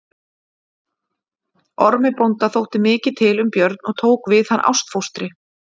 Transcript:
Ormi bónda þótti mikið til um Björn og tók við hann ástfóstri.